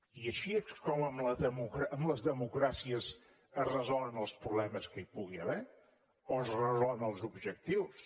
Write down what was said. i així és com en les democràcies es resolen els problemes que hi pugui haver o els resolen els objectius